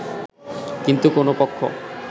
কিন্তু কোন পক্ষ